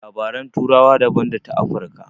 Labaran turawa daban da ta Afirka.